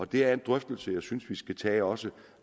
det er en drøftelse jeg synes vi skal tage også